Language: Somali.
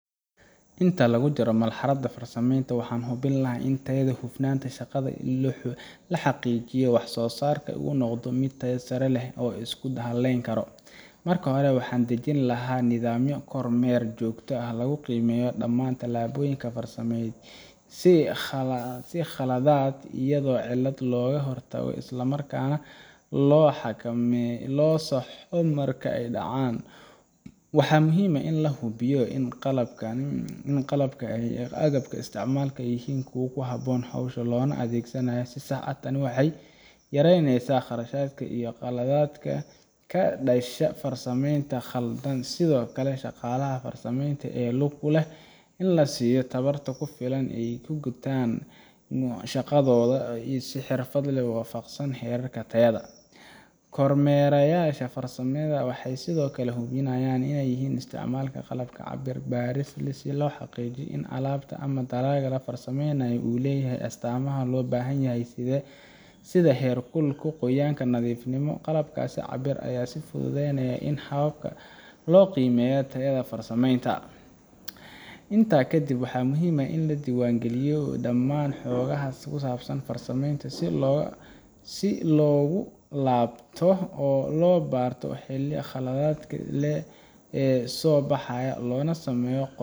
Inta lagu jiro marxaladda farsameynta, waxaan hubin lahaa tayada iyo hufnaanta shaqada si loo xaqiijiyo in wax soo saarka uu noqdo mid tayo sare leh oo la isku halayn karo. Marka hore, waxaan dejin lahaa nidaamyo kormeer joogto ah oo lagu qiimeeyo dhammaan tallaabooyinka farsameynta, si khaladaad iyo cilado looga hortago isla markaana loo saxo marka ay dhacaan. Waxaa muhiim ah in la hubiyo in qalabka iyo agabka la isticmaalayo ay yihiin kuwo ku habboon hawsha loona adeegsanayo si sax ah. Tani waxay yareynaysaa khasaaraha iyo qaladaadka ka dhasha farsameynta khaldan. Sidoo kale, shaqaalaha farsameynta ku lug leh waa in la siiyo tababar ku filan si ay u gutaan shaqadooda si xirfad leh oo waafaqsan heerarka tayada. Kormeerayaasha farsamada waxay sidoo kale u baahan yihiin inay isticmaalaan qalab cabir iyo baaris si loo xaqiijiyo in alaabta ama dalagga la farsameynayo uu leeyahay astaamaha loo baahan yahay sida heer kulka, qoyaan, iyo nadiifnimo. Qalabkaas cabirka ayaa fududeeya in si dhab ah loo qiimeeyo tayada farsameynta. Intaa kadib, waxaa muhiim ah in la diiwaangeliyo dhammaan xogaha ku saabsan farsameynta si loogu laabto oo loo barto wixii khaladaad ah ee soo baxay, loona sameeyo